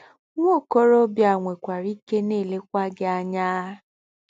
Nwa okorobịa a nwekwara ike na-elekwa gị anya!